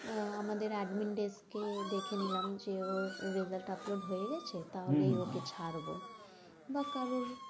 আহ আমাদের admin desk কে দেখে নিলাম যে, ওর result upload হয়ে গেছে। তাহলে ওকে ছাড়ব বা কারোর,